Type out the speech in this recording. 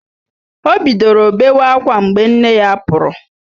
O bidoro bewa ákwá mgbe nne ya pụrụ